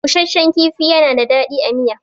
Bushashshan kifi yana da daɗi a miya.